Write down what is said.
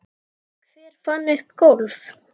Hver fann upp golf?